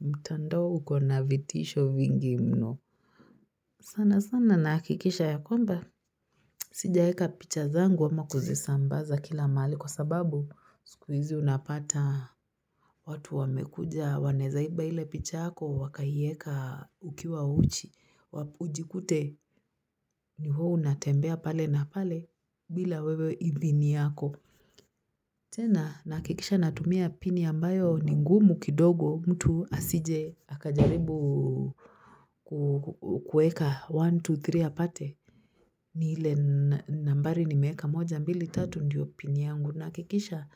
Mtandao uko na vitisho vingi mno. Sana sana nakikisha ya kwamba. Sijaeka picha zangu ama kuzisambaza kila mahali kwa sababu siku izi unapata. Watu wamekuja wanezaiba ile picha yako wakaieka ukiwa uchi. Ujikute ni wewe unatembea pale na pale bila wewe idhini yako. Tena nahakikisha natumia pini ambayo ni ngumu kidogo mtu asije akajaribu kueka 1, 2, 3, apate. Ni ile nambari nimeeka moja mbili tatu ndiyo pini yangu. Nahakikisha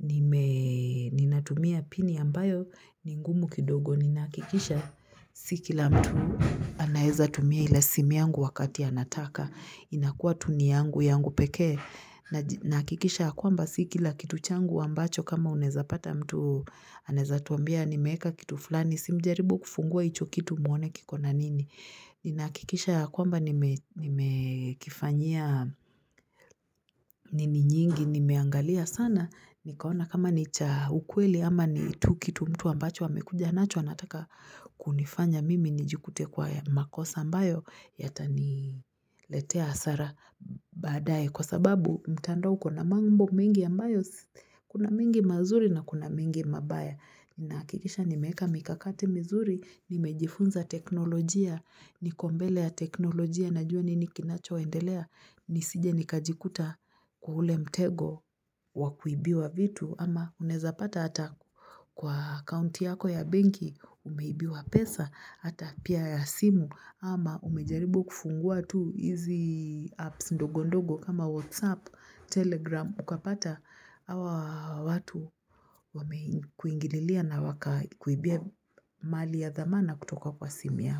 ninatumia pini ambayo ni ngumu kidogo. Ninakikisha si kila mtu anaeza tumia ila simu yangu wakati anataka, inakua tu ni yangu yangu pekee Nahakikisha ya kwamba si kila kitu changu ambacho kama unezapata mtu anaeza tuambia nimeeka kitu fulani, si mjaribu kufungua hicho kitu muone kiko na nini Ninahakikisha ya kwamba nimekifanyia nini nyingi nimeangalia sana nikaona kama ni cha ukweli ama ni tu kitu mtu ambacho wamekuja nacho anataka kunifanya mimi nijikute kwa makosa ambayo yataniletea hasara baadae. Kwa sababu mtandao uko mambo mingi ambayo kuna mingi mazuri na kuna mingi mabaya. Ninahakikisha nimeeka mikakati mizuri, nimejifunza teknolojia, niko mbele ya teknolojia na jua nini kinacho waendelea. Nisije nikajikuta kwa ule mtego wa kuibiwa vitu ama uneza pata hata kwa kaunti yako ya benki umeibiwa pesa hata pia ya simu ama umejaribu kufungua tu hizi apps ndogo ndogo kama whatsapp telegram ukapata hawa watu wamekuingililia na wakakuibia mali ya dhamana kutoka kwa simu yako.